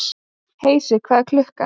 Heisi, hvað er klukkan?